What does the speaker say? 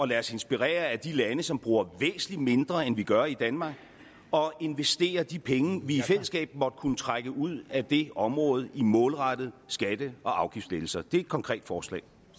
lade os inspirere af de lande som bruger væsentlig mindre end vi gør i danmark og investerer de penge vi i fællesskab måtte kunne trække ud af det område i målrettede skatte og afgiftslettelser det er et konkret forslag